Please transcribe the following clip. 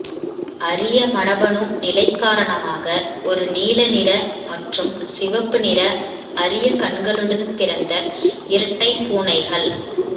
அரிய மரபணு நிலை காரணமாக ஒரு நீல நிற மற்றும் சிவப்பு நிற அரிய கண்களுடன் பிறந்த இரட்டை பூனைகள்